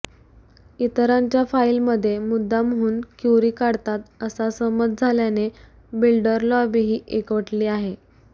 इतरांच्या फाईलमध्ये मुद्दामहून क्युरी काढतात असा समज झाल्याने बिल्डर लॉबीही एकवटली आहे